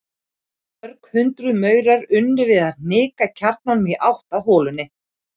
Mörg hundruð maurar unnu við að hnika kjarnanum í átt að holunni.